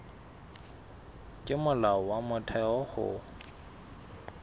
ke molao wa motheo ho